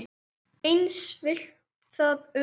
Eins villti þar um menn.